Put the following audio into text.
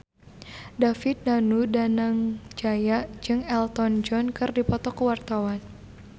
David Danu Danangjaya jeung Elton John keur dipoto ku wartawan